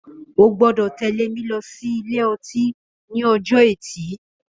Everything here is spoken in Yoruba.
Ó gbọdọ tẹ̀lé mi lọ si ilé ọtin ni ọjọ ẹti